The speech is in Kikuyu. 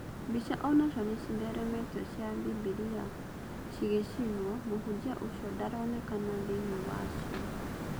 Mbica onacio nĩcitheremetio cia Bibiria cigĩcinwo. Mũhunjia ũcio ndaronekana thĩiniĩ wa cio.